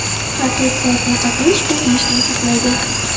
Har to‘rt soatda ovqatlanish ko‘p yeyishdan saqlaydi.